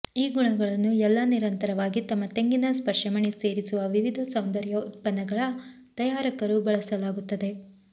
ಈ ಗುಣಗಳನ್ನು ಎಲ್ಲಾ ನಿರಂತರವಾಗಿ ತಮ್ಮ ತೆಂಗಿನ ಸ್ಪರ್ಶಮಣಿ ಸೇರಿಸುವ ವಿವಿಧ ಸೌಂದರ್ಯ ಉತ್ಪನ್ನಗಳ ತಯಾರಕರು ಬಳಸಲಾಗುತ್ತದೆ